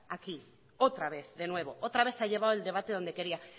aquí otra vez de nuevo otra vez ha llevado el debate donde quería